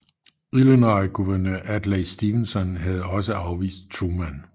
Illinois guvernør Adlai Stevenson havde også afvist Truman